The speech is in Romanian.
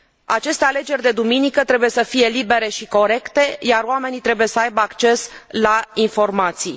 Aceste alegeri de duminică trebuie să fie libere și corecte, iar oamenii trebuie să aibă acces la informații.